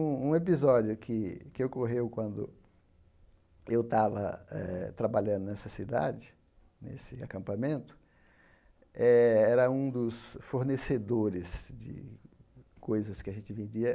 Um um episódio que que ocorreu quando eu estava eh trabalhando nessa cidade, nesse acampamento, eh era um dos fornecedores de coisas que a gente vendia.